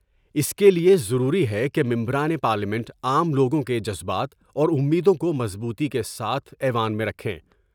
اس کے لئے ضروری ہے کہ ممبران پارلیمنٹ عام لوگوں کے جذبات اور امیدوں کو مضبوطی کے ساتھ ایوان میں رکھیں ۔